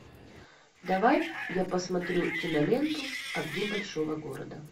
давай я посмотрю киноленту огни большого города